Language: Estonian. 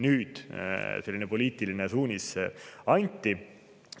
Nüüd selline poliitiline suunis anti.